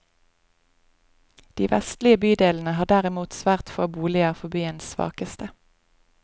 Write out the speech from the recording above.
De vestlige bydelene har derimot svært få boliger for byens svakeste.